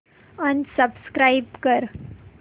unsubscribe कर